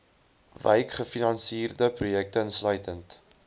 wykgefinansierde projekte insluitend